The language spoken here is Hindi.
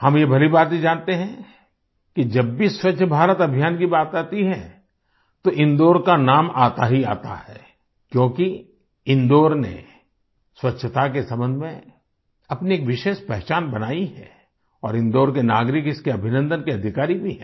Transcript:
हम ये भलीभांति जानते हैं कि जब भी स्वच्छ भारत अभियान की बात आती है तो इंदौर का नाम आता ही आता है क्योंकि इंदौर ने स्वच्छता के संबंध में अपनी एक विशेष पहचान बनाई है और इंदौर के नागरिक इसके अभिनन्दन के अधिकारी भी है